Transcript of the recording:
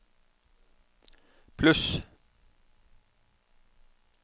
pluss